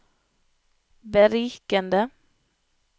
berikende